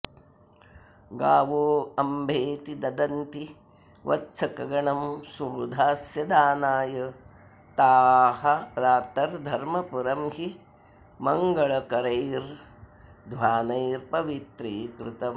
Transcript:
गावोऽम्भेति नदन्ति वत्सकगणं स्वोधास्यदानाय ताः प्रातर् धर्मपुरं हि मङ्गळकरैर् ध्वानैः पवित्रीकृतम्